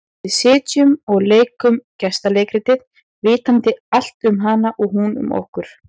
Við sitjum og leikum gestaleikritið, vitandi allt um hana og hún um okkur.